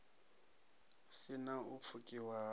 si na u pfukiwa ha